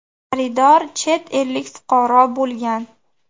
Xaridor chet ellik fuqaro bo‘lgan.